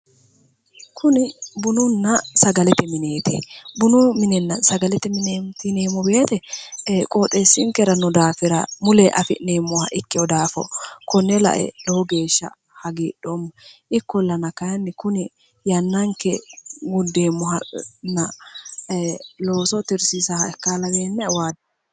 Bunu minenna sagalete mine:-kuni bununna sagalete mineeti bunu minenna sagalete mine yineemmo woyiite qooxeessinkera noo daafira mulee afi'neemmoha ikkewo daafo Konne lae lowo geeshsha hagidhoomma ikollana kayiinni yannanke gundeemmohanna looso tirisiissanonkeha laweennae wajoomma.